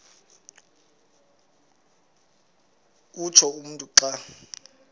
utsho umntu xa